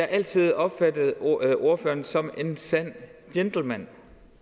altid opfattet ordføreren som en sand gentleman